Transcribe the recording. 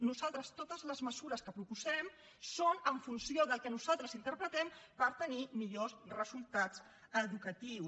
nosaltres totes les mesures que proposem són en funció del que nosaltres interpretem per tenir millors resultats educatius